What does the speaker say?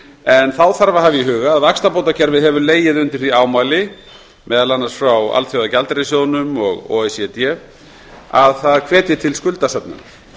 en þá þarf að hafa í huga að vaxtabótakerfið hefur legið undir því ámæli meðal annars frá alþjóðagjaldeyrissjóðnum og o e c d að það hvetji til skuldasöfnunar